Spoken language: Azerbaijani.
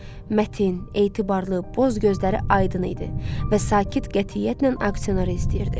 Mətin, etibarlı, boz gözləri aydın idi və sakit qətiyyətlə aksioneri izləyirdi.